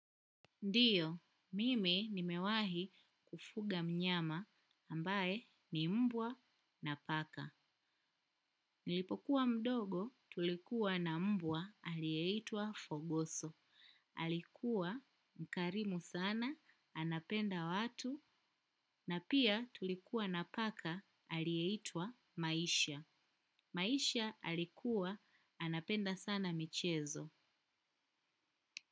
Ndiyo, mimi nimewahi kufuga mnyama ambaye ni mbwa na paka. Nilipokuwa mdogo tulikuwa na mbwa aliyeitwa Fogoso. Alikuwa mkarimu sana, anapenda watu, na pia tulikuwa na paka alieitwa Maisha. Maisha alikuwa anapenda sana michezo.